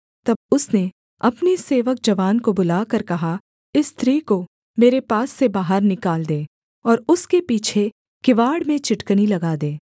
तब उसने अपने सेवक जवान को बुलाकर कहा इस स्त्री को मेरे पास से बाहर निकाल दे और उसके पीछे किवाड़ में चिटकनी लगा दे